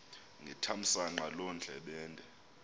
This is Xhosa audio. ngethamsanqa loo ndlebende